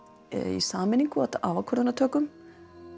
í sameiningu að ákvarðanatökum